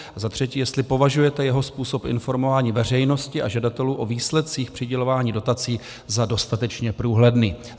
A za třetí, jestli považujete jeho způsob informování veřejnosti a žadatelů o výsledcích přidělování dotací za dostatečně průhledný.